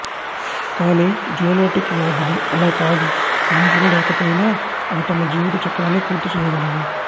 కానీ జూనోటిక్ వ్యాధులు అలా కాదు మనుషులు లేకపోయినా అవి తమ జీవిత చక్రాన్ని పూర్తి చేయగలవు